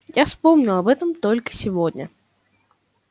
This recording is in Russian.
я вспомнил об этом только сегодня